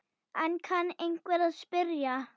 Enn kann einhver að spyrja.